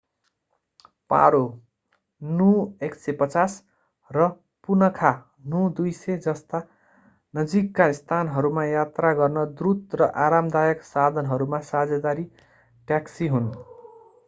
पारो नु 150 र पुनखा नु 200 जस्ता नजिकका स्थानहरूमा यात्रा गर्न द्रुत र आरामदायक साधनहरूमा साझेदारी ट्याक्सी हुन्।